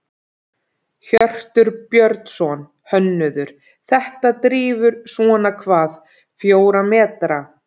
Hjörtur Björnsson, hönnuður: Þetta drífur svona hvað, fjóra metra?